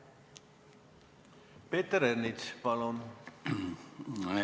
Peeter Ernits, palun!